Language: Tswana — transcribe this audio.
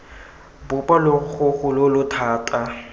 bopa logogo lo lo thata